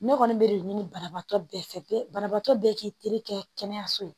Ne kɔni b'o re ɲini banabaatɔ bɛɛ fɛ, banabaatɔ bɛɛ k'i terikɛ kɛ kɛnɛyaso ye.